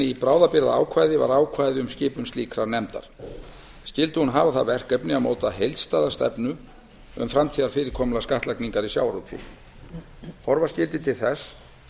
í bráðabirgðaákvæði var hins vegar ákvæði um skipun slíkrar nefndar skyldi hún hafa það verkefni að móta heildstæða stefnu um framtíðarfyrirkomulag skattlagningar í sjávarútvegi horfa skyldi til þess